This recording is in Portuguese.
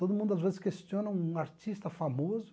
Todo mundo, às vezes, questiona um artista famoso,